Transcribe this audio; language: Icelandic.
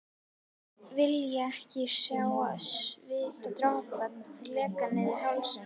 Vilja ekki sjá svitadropana leka niður hálsinn.